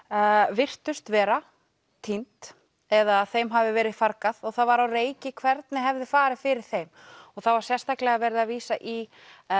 virtust vera týnd eða að þeim hafi verið fargað og það var á reiki hvernig hafi farið fyrir þeim það var sérstaklega verið að vísa í